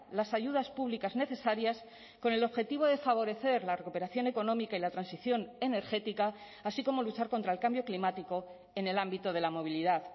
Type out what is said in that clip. las ayudas públicas necesarias con el objetivo de favorecer la recuperación económica y la transición energética así como luchar contra el cambio climático en el ámbito de la movilidad